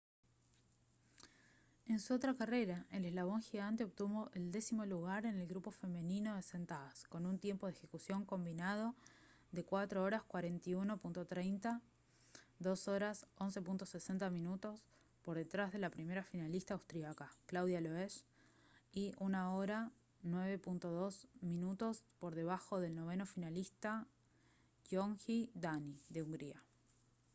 en su otra carrera el eslalon gigante obtuvo el décimo lugar en el grupo femenino de sentadas con un tiempo de ejecución combinado de 4:41.30 2:11.60 minutos por detrás de la primera finalista austríaca claudia loesch y 1:09.02 minutos por debajo del noveno finalista gyöngyi dani de hungría